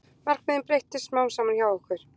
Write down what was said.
Markmiðin breyttust smám saman hjá okkur